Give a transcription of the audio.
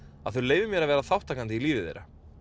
að þau leyfi mér að vera þátttakandi í lífi þeirra